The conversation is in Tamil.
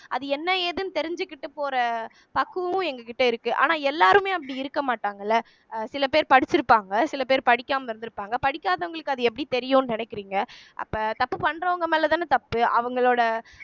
அது என்ன ஏதுன்னு தெரிஞ்சுக்கிட்டு போற பக்குவம் எங்க கிட்ட இருக்கு ஆனா எல்லாருமே அப்படி இருக்க மாட்டாங்கல்ல அஹ் சில பேர் படிச்சிருப்பாங்க சில பேர் படிக்காம இருந்திருப்பாங்க படிக்காதவங்களுக்கு அது எப்படி தெரியும்ன்னு நினைக்கிறீங்க அப்ப தப்பு பண்றவங்க மேல தான தப்பு அவங்களோட